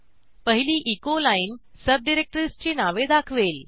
पहिली echo line सबडिरेक्टरीजची नावे दाखवेल